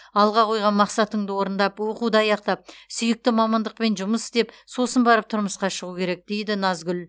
алға қойған мақсатыңды орындап оқуды аяқтап сүйікті мамандықпен жұмыс істеп сосын барып тұрмысқа шығу керек дейді назгүл